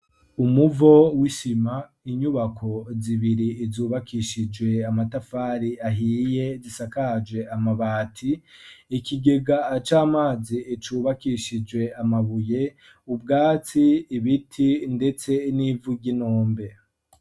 Umuvo w'isima, inyubako zibiri zubakishije amatafari ahiye zisakaje amabati, ikigega c'amazi cubakishije amabuye ,ubwatsi, ibiti ndetse n'ivu ry'inombe.